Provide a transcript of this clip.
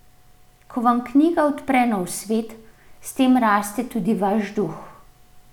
Ko vam knjiga odpre nov svet, s tem raste tudi vaš duh.